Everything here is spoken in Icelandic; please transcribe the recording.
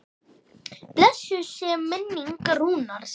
Blessuð sé minning Rúnars.